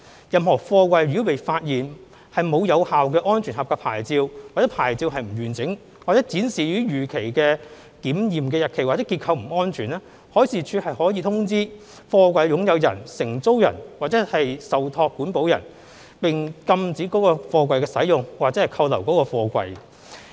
任何貨櫃如被發現沒有有效"安全合格牌照"或牌照不完整，或展示已逾期的檢驗日期或結構不安全，海事處可通知貨櫃的擁有人、承租人或受託保管人，並禁止該貨櫃的使用或扣留該貨櫃。